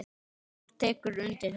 Þór tekur undir þetta.